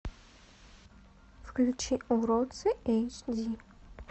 включи уродцы эйч ди